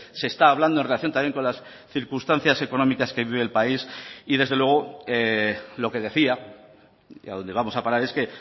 se está hablando en relación también con las circunstancias económicas que vive el país y desde luego lo que decía y a donde vamos a parar es que